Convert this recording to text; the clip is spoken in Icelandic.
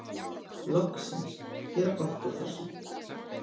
Loksins: Gera gott úr þessu.